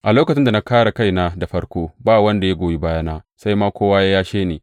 A lokacin da na kāre kaina da farko, ba wanda ya goyi bayana, sai ma kowa ya yashe ni.